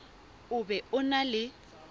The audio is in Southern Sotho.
o be o na le